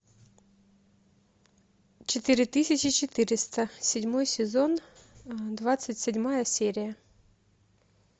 четыре тысячи четыреста седьмой сезон двадцать седьмая серия